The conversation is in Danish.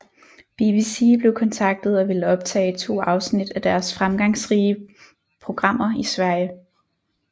BBC blev kontaktet og ville optage to afsnit af deres fremgangsrige programmer i Sverige